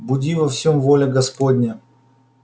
буди во всем воля господня